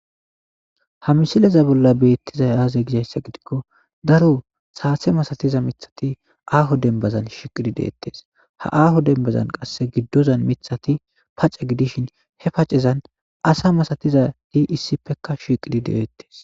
ha misileza bolla beettizay aaze gishayssa gidikko daro saatse masatiza mithati aaho denbazan shiqidi deettees ha aaho denbazan qasse giddozan mithati pacca gidishin he pacezan asa masatizati issipekka shiqidi de7oettes